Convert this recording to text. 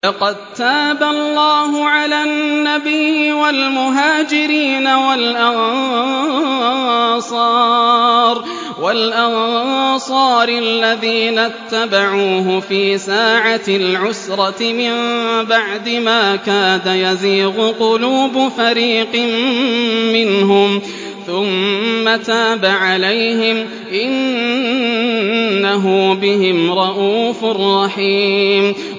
لَّقَد تَّابَ اللَّهُ عَلَى النَّبِيِّ وَالْمُهَاجِرِينَ وَالْأَنصَارِ الَّذِينَ اتَّبَعُوهُ فِي سَاعَةِ الْعُسْرَةِ مِن بَعْدِ مَا كَادَ يَزِيغُ قُلُوبُ فَرِيقٍ مِّنْهُمْ ثُمَّ تَابَ عَلَيْهِمْ ۚ إِنَّهُ بِهِمْ رَءُوفٌ رَّحِيمٌ